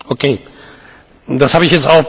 Das habe ich jetzt auch besser verstanden.